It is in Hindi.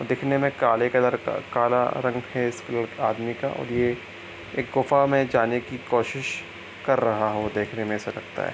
देखनेमें काले कलर का काला रंग है इस लड़ आदमी का और ये गुफ़ा में जाने की कोशिश कर रहा हो देखने में ऐसा लगता है |